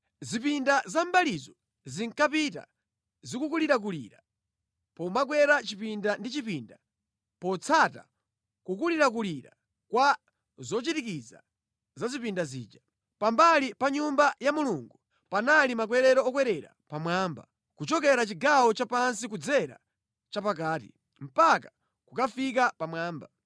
Zipinda za mʼmbalizo zinkapita zikulirakulira pomakwera chipinda ndi chipinda potsata kukulirakulira kwa zochirikiza za zipinda zija. Pambali pa Nyumba ya Mulungu panali makwerero okwerera pamwamba, kuchokera chigawo chapansi kudzera chapakati, mpaka kukafika pamwamba.